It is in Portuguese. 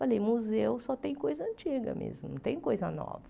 Falei, museu só tem coisa antiga mesmo, não tem coisa nova.